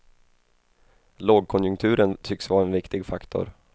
Lågkonjunkturen tycks vara en viktig faktor.